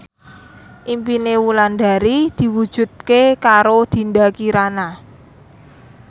impine Wulandari diwujudke karo Dinda Kirana